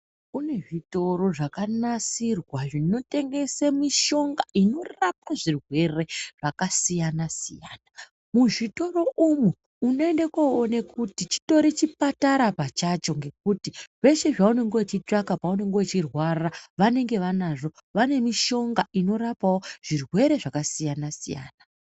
Kune zvitoro zvakanasirwa zvinotengese mishonga, inorapa zvirwere zvakasiyana-siyana. Muzvitoro umwu, unoende koone kuti chitori chipatara pachacho, ngekuti zveshe zvaunenge uchitsvaka paunenge uchirwara, vanenge vanazvo. Vane mushonga inorapawo zvirwere zvakasiyana-siyana.